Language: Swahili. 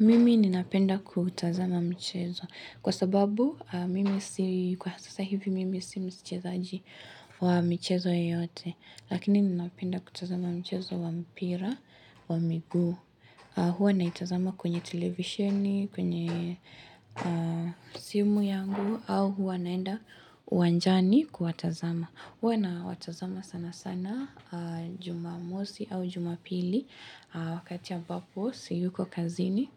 Mimi ninapenda kuutazama mchezo. Kwasababu, mimi sio kwa sasa hivi mimi sio mchezaji wa mchezo yoyote. Lakini ninapenda kutazama mchezo wa mpira wa miguu au huwa naitazama kwenye televisheni, kwenye simu yangu au huwa naenda uwanjani kuwatazama. Huwa nawatazama sana sana juma mosi au jumapili wakati ambapo siyuko kazini